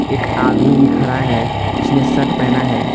एक आदमी भी खड़ा है जिसने शर्ट पहना है।